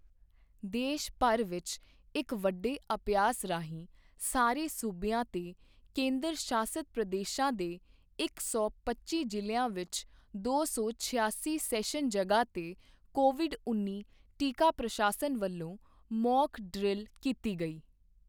ਦੇਸ਼ ਭਰ ਵਿੱਚ ਇੱਕ ਵੱਡੇ ਅਭਿਆਸ ਰਾਹੀਂ ਸਾਰੇ ਸੂਬਿਆਂ ਤੇ ਕੇਂਦਰ ਸ਼ਾਸਤ ਪ੍ਰਦੇਸ਼ਾਂ ਦੇ ਇੱਕ ਸੌ ਪੱਚੀ ਜਿਲ੍ਹਿਆਂ ਵਿੱਚ ਦੋ ਸੌ ਛਿਆਸੀ ਸੈਸ਼ਨ ਜਗ੍ਹਾ ਤੇ ਕੋਵਿਡ ਉੱਨੀ ਟੀਕਾ ਪ੍ਰਸ਼ਾਸਨ ਵੱਲੋਂ ਮੌਕ ਡਰਿੱਲ ਕੀਤੀ ਗਈ